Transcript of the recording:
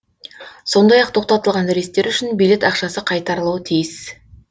сондай ақ тоқтатылған рейстер үшін билет ақшасы қайтарылуы тиіс